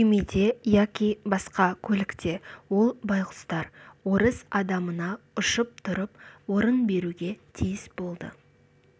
күймеде яки басқа көлікте ол байғұстар орыс адамына ұшып тұрып орын беруге тиіс болды